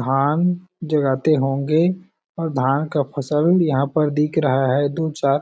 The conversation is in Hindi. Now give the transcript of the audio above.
धान जुराते होंगे और धान का फसल यहाँ पर दिख रहा हैं दु चार--